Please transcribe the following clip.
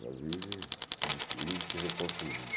Ela vive se destruindo e se reconstruindo.